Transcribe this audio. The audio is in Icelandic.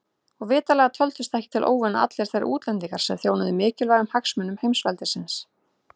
Og vitanlega töldust ekki til óvina allir þeir útlendingar sem þjónuðu mikilvægum hagsmunum heimsveldisins.